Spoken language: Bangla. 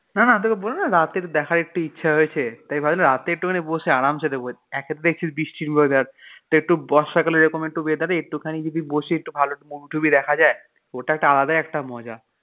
না না তোকে বললাম না রাত্তিরে দেখার একটু ইচ্ছা হয়েছে তাই ভাবলাম রাতে একটু বসে আরামসে দেখবো একে তো দেখছিস বৃষ্টির weather তোর একটু বর্ষাকালের এরকম একটু weather এ একটু খানি যদি বসি একটু ভালো movie টুভি দেখা যায় ওটা একটা আলাদাই একটা মজা.